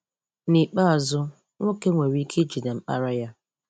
N'ikpeazụ, nwoke nwere ike ijide mkpara ya.